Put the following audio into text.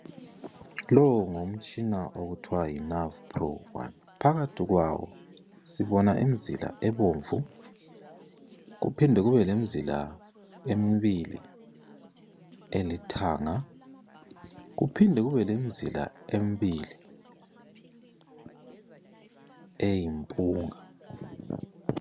Lo ngumtshina okuthwa yiNavPro one, phakathi kwawo sibona imizila ebomvu. Kuphinde kube lemzila emibili elithanga kuphimde kubelemzila emibili eyimpunga.